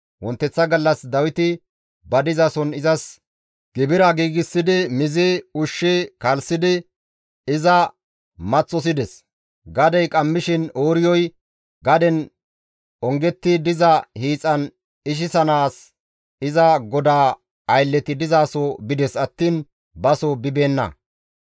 Wonteththa gallas Dawiti ba dizason izas gibira giigsidi mizi, ushshi kalssidi iza maththosides; gadey qammishin Ooriyoy gaden ongetti diza hiixan ichchanaas iza godaa aylleti dizaso bides attiin baso bibeenna.